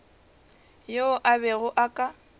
yo a bego a ka